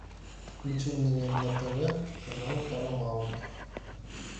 включи мне на тв канал парамаунт